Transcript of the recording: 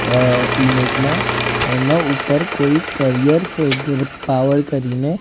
અહ ઇમેજમાં એના ઉપર કોઈ કરિયર પાવર કરીને--